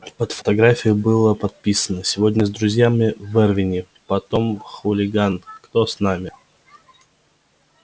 под фотографией было подписано сегодня с друзьями в эрвине потом в хулиган кто с нами